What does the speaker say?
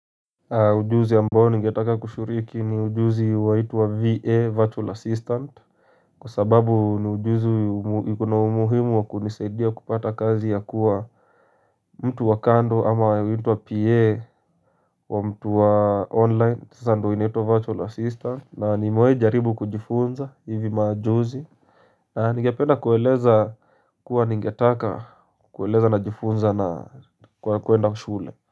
Ujuzi ambao ningetaka kushiriki ni ujuzi waitwa VA Virtual Assistant Kwa sababu ni ujuzi ikona umuhimu wa kunisaidia kupata kazi ya kuwa mtu wa kando ama huiitwa wa PA wa mtu wa online sasa ndo inaitwa Virtual Assistant na nimewai jaribu kujifunza hivi majuzi Nigependa kuweleza kuwa ningetaka kuwaeleza na jifunza na kwa kwenda shule.